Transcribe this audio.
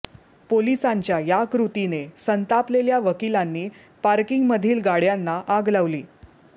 पोलिसांच्या या कृतीने संतापलेल्या वकिलांनी पार्किंगमधील गाड्यांना आग लावली